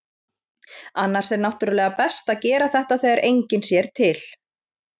Annars er náttúrulega best að gera þetta þegar enginn sér til.